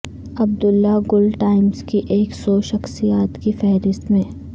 عبداللہ Gul Times کی ایک سوشخصیات کی فہرست میں